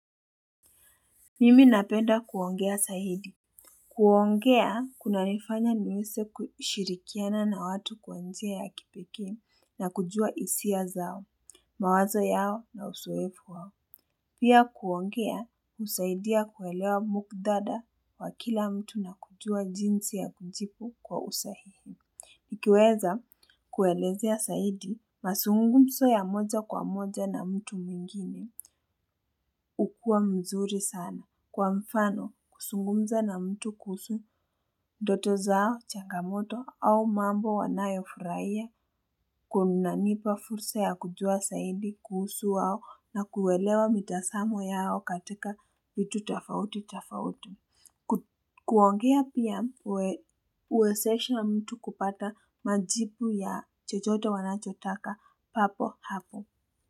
Mimi napenda kuongea zaidi. Kuongea, kunanifanya niweze kushirikiana na watu kwa njia ya kipekee na kujua hisia zao, mawazo yao na uzoefu wao. Pia kuongea, husaidia kuelewa muktadha wa kila mtu na kujua jinsi ya kujibu kwa usahihi. Ikiweza kuelezea zaidi, mazungumzo ya moja kwa moja na mtu mwingine, hukua mzuri sana. Kwa mfano, kuzungumza na mtu kuhusu, ndoto zao, changamoto, au mambo wanayofurahia, kunanipa fursa ya kujua zaidi kuhusu wao na kuelewa mitazamo yao katika vitu tofauti tofauti. Kuongea pia huwezesha mtu kupata majibu ya chochote wanachotaka papo hapo.